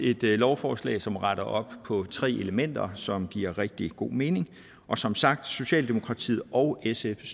et lovforslag som retter op på tre elementer som giver rigtig god mening og som sagt støtter socialdemokratiet og sf